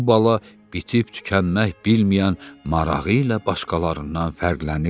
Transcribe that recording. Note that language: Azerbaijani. Bu bala bitib-tükənmək bilməyən marağı ilə başqalarından fərqlənirdi.